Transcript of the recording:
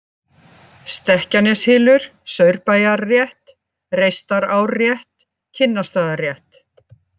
Stekkjaneshylur, Saurbæjarrétt, Reistarárrétt, Kinnarstaðarétt